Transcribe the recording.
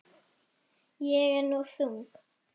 Ég er nú þung.